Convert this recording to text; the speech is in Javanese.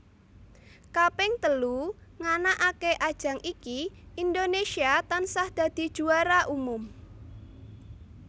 Kaping telu nganakake ajang iki Indonésia tansah dadi juara umum